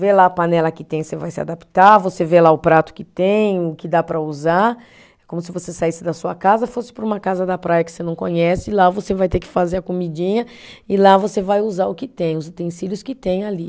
Vê lá a panela que tem, você vai se adaptar, você vê lá o prato que tem, o que dá para usar, é como se você saísse da sua casa, fosse para uma casa da praia que você não conhece, e lá você vai ter que fazer a comidinha, e lá você vai usar o que tem, os utensílios que tem ali.